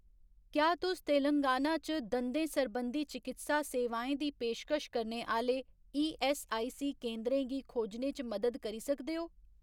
क्या तुस तेलंगाना च दंदें सरबंधी चकित्सा सेवाएं दी पेशकश करने आह्‌ले ईऐस्सआईसी केंदरें गी खोजने च मदद करी सकदे ओ ?